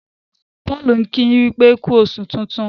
Paul nki yin wípé ku oṣù tintun.